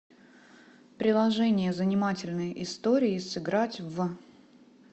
приложение занимательные истории сыграть в